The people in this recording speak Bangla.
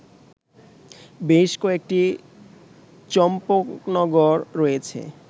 বেশ কয়েকটি চম্পকনগর রয়েছে